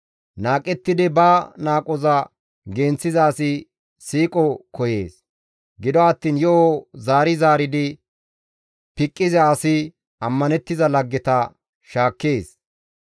Qohettidi ba qohoza genththiza asi siiqo koyees; gido attiin yo7o zaari zaaridi piqqiza asi ammanettiza laggeta shaakkees.